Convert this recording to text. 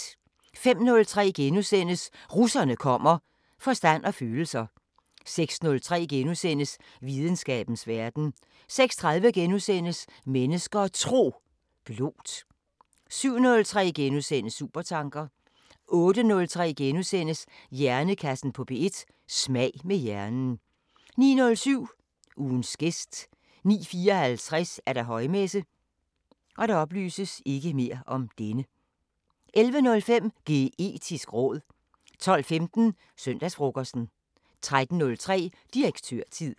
05:03: Russerne kommer: "Forstand og følelser" * 06:03: Videnskabens Verden * 06:30: Mennesker og Tro: Blót * 07:03: Supertanker * 08:03: Hjernekassen på P1: Smag med hjernen * 09:07: Ugens gæst 09:54: Højmesse - 11:05: Geetisk råd 12:15: Søndagsfrokosten 13:03: Direktørtid